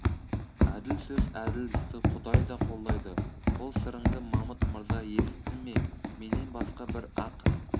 әділ сөз әділ істі құдай да қолдайды бұл сырыңды мамыт мырза есітті ме менен басқа бір-ақ